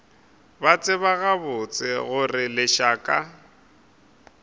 ba tseba gabotse gore lešaka